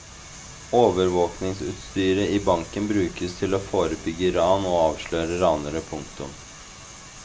Overvåkingsutstyret i banken brukes til å forebygge ran og avsløre ranere. punktum